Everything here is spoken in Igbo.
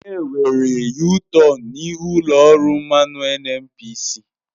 Enwere yutọonu n'ihu ụlọ ọrụ mmanụ NNPC.